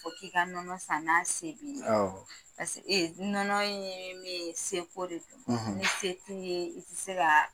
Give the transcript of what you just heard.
k'i ka nɔnɔ san se b'i ye paseki nɔnɔ ye min ye seko de do ni se t'i ye i tɛ se ka